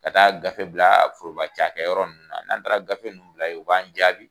Ka taa a gafe bila foroba cakɛyɔrɔ nunnu na, n'an taara gafe nunnu bila yen, u b'an jaabi.